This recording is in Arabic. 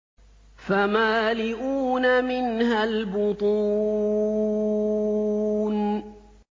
فَمَالِئُونَ مِنْهَا الْبُطُونَ